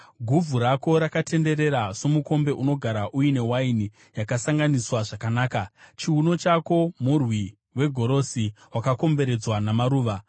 Guvhu rako rakatenderera somukombe unogara uine waini yakasanganiswa zvakanaka. Chiuno chako murwi wegorosi wakakomberedzwa namaruva.